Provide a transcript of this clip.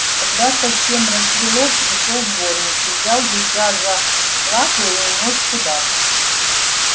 когда совсем рассвело пришёл дворник взял гуся за лапы и унёс куда-то